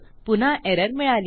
पुन्हा एरर मिळाली